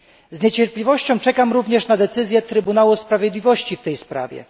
Z niecierpliwością czekam również na decyzję Trybunału Sprawiedliwości w tej sprawie.